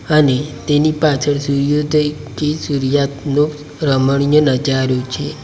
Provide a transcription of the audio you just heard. અને તેની પાછળ સૂર્યોદયથી સૂર્યાસ્તનો રમણીય નજારો છે.